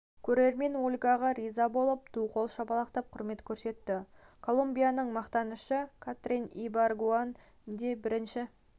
көрермен ольгаға риза болып ду қол шапалақтап құрмет көрсетті колумбияның мақтанышы катрин ибаргуэн де бірінші